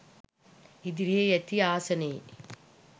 ඉදිරියෙන් ඇති ආසනයේ